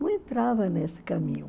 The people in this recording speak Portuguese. Não entrava nesse caminho.